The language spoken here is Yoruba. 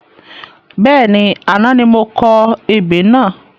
Bẹ́ẹ̀ni, àná ni mo kọ ebè náà